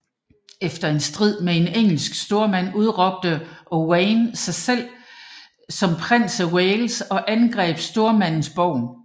Efter en strid med en engelsk stormand udråbte Owain sig selv som prins af Wales og angreb stormandens borg